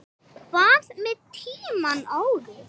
Hvað með tímann áður?